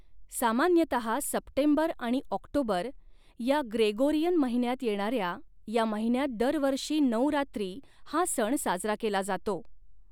सामान्यतः सप्टेंबर आणि ऑक्टोबर या ग्रेगोरियन महिन्यात येणाऱ्या या महिन्यात दरवर्षी नऊ रात्री हा सण साजरा केला जातो.